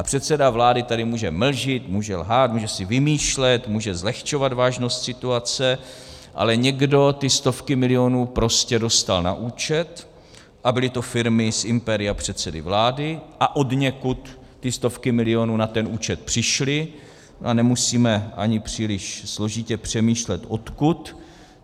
A předseda vlády tady může mlžit, může lhát, může si vymýšlet, může zlehčovat vážnost situace, ale někdo ty stovky milionů prostě dostal na účet a byly to firmy z impéria předsedy vlády a odněkud ty stovky milionů na ten účet přišly a nemusíme ani příliš složitě přemýšlet odkud.